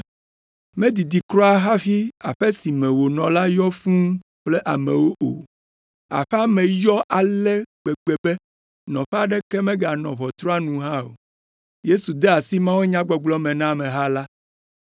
Medidi kura hafi aƒe si me wònɔ la yɔ fũu kple amewo o. Aƒea me yɔ ale gbegbe be nɔƒe aɖeke meganɔ ʋɔtrua nu hã o. Yesu de asi mawunyagbɔgblɔ me na ameha la.